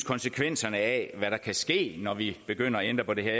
konsekvenserne af hvad der kan ske når vi begynder at ændre på det her